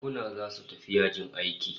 Bankuna zasu tafi yajin aiki